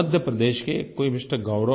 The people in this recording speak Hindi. मध्य प्रदेश के कोई एमआर